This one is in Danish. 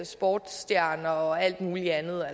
sportsstjerner og alt muligt andet